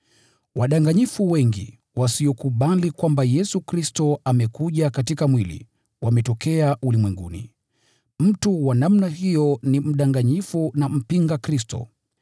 Wadanganyifu wengi, wasiokubali kwamba Yesu Kristo amekuja katika mwili, wametokea ulimwenguni. Mtu wa namna hiyo ni mdanganyifu na mpinga Kristo.